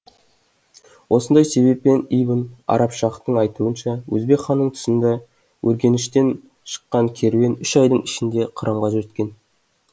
осындай себеппен ибн арабшахтың айтуынша өзбек ханның тұсында өргеніштен шыққан керуен үш айдың ішінде қырымға жеткен